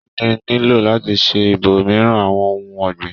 Kínní s nílò láti ṣe ibòmírin àwọn ohùn ọ̀gbìn?